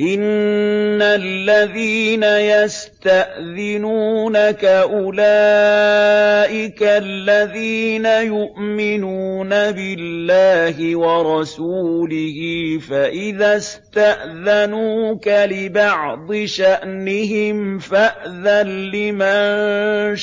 إِنَّ الَّذِينَ يَسْتَأْذِنُونَكَ أُولَٰئِكَ الَّذِينَ يُؤْمِنُونَ بِاللَّهِ وَرَسُولِهِ ۚ فَإِذَا اسْتَأْذَنُوكَ لِبَعْضِ شَأْنِهِمْ فَأْذَن لِّمَن